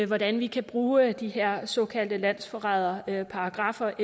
hvordan vi kan bruge de her såkaldte landsforræderparagraffer